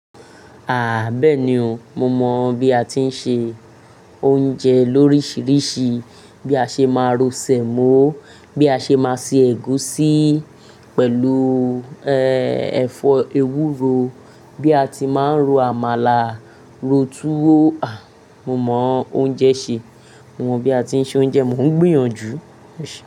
Ah, bẹ́ẹ̀ni o, mo mọ̀ bí a ti ń se oúnjẹ lóríṣiríṣi, bí a ṣe máa ro sẹ̀mọ́, bí a ṣe máa se ẹ̀gúsí pẹ̀lú, e-ẹfọ ewúro, bí a ti máa ń ro àmàlà, ro túwó, ah, mo mọ̀ oúnjẹ ṣe. Mo mọ̀ bí a ti ń ṣe oúnjẹ, mò ń gbìyànjú.